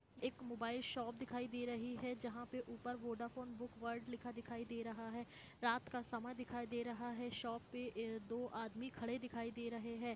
एक mobile shop दिखाई दे रही है जहा ऊपर वोडाफोन बुक वर्ल्ड लिखा दिखाई दे रहा है रात का समा दिखाई दे रहा है शॉप पे दो आदमी खड़े दिखाई दे रहे है।